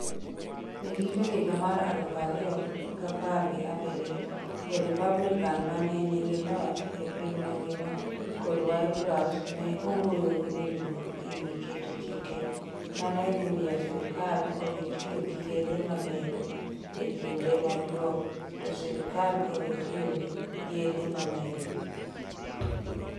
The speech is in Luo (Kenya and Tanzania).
E giko higa mar aluf ariyo gapar gi abirio, jo Republican ma ne nigi loch e piny mangima kod White House ne owuoyo gi winjruok e wi keto chike ma ne dhi miyo sirkal owe tiyo gi yedhe mamero e kinde machuok to sirkal owe tiyo gi yedhe mamero.